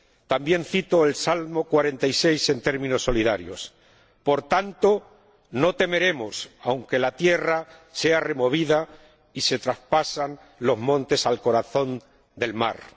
También cito el salmo 46 en términos solidarios Por tanto, no temeremos, aunque la tierra sea removida y se traspasen los montes al corazón del mar.